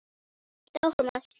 Ég hélt áfram að stela.